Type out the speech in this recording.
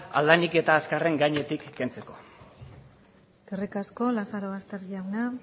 ahal denik eta azkarren gainetik kentzeko eskerrik asko lazarobaster jauna